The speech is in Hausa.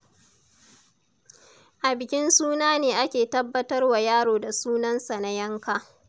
A bikin suna ne ake tabbatarwa yaro da sunansa na yanka.